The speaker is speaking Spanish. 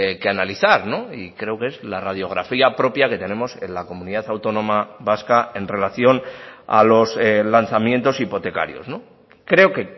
que analizar y creo que es la radiografía propia que tenemos en la comunidad autónoma vasca en relación a los lanzamientos hipotecarios creo que